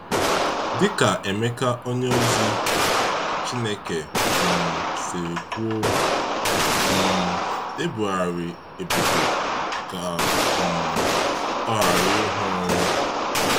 Dịka Emeka onyeozi chineke um siri kwuo, um ebugharị Ebube ka um ọ ghara ịhụ ọnwụ.